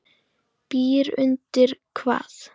Byr undir hvað?